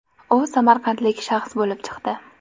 U samarqandlik shaxs bo‘lib chiqdi.